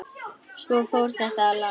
Svo fór þetta að lagast.